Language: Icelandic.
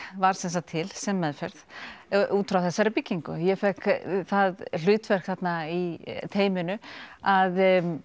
varð þá til sem meðferð út frá þessari byggingu og ég fékk það hlutverk þarna í teyminu að